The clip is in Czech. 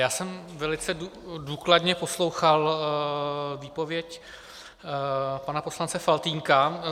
Já jsem velice důkladně poslouchal výpověď pana poslance Faltýnka.